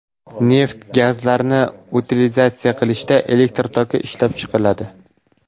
Neft gazlarini utilizatsiya qilishda elektr toki ishlab chiqariladi.